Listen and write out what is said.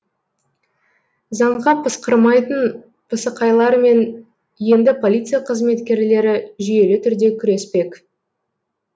заңға пысқырмайтын пысықайлармен енді полиция қызметкерлері жүйелі түрде күреспек